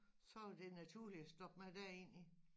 Så var dte naturligt at stoppe mig derind i